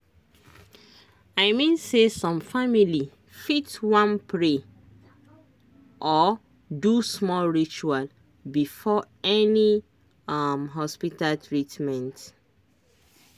i mean say some family fit wan pray or do small ritual before any um hospita treatment